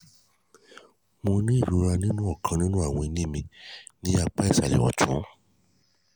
mo ní ìrora nínú ọkàn nínú àwọn eyín mi ní apá ìsàlẹ̀ ọ̀tún